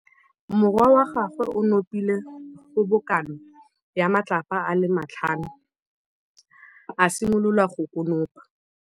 Morwa wa gagwe o nopile kgobokanô ya matlapa a le tlhano, a simolola go konopa.